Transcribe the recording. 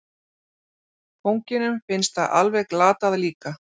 Kónginum finnst það alveg glatað líka.